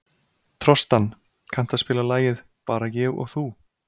Trostan, kanntu að spila lagið „Bara ég og þú“?